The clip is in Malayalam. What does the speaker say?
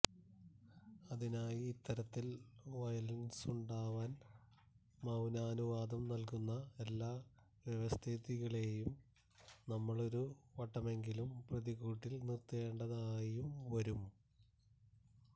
അതിനായി ഇത്തരത്തിൽ വയലൻസുണ്ടാവാൻ മൌനാനുവാദം നൽകുന്ന എല്ലാ വ്യവസ്ഥിതികളെയും നമ്മളൊരു വട്ടമെങ്കിലും പ്രതിക്കൂട്ടിൽ നിർത്തേണ്ടതായും വരും